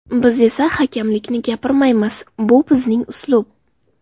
Biz esa hakamlikni gapirmaymiz, bu bizning uslub.